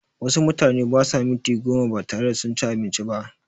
Wasu mutane basa minti goma batare da sunci abinci ba